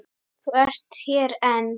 Þú ert hér enn!